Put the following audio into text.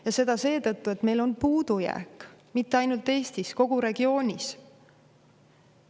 Ja seda seetõttu, et meil on puudujääk mitte ainult Eestis, vaid kogu regioonis.